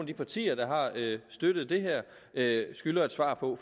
de partier der har støttet det her skylder et svar på